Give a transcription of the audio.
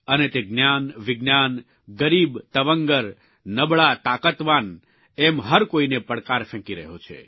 અને તે જ્ઞાન વિજ્ઞાન ગરીબ તવંગર નબળા તાકાતવાન એમ હર કોઇને પડકાર ફેંકી રહ્યો છે